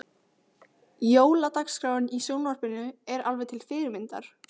Jóladagskráin í sjónvarpinu er alveg til fyrirmyndar.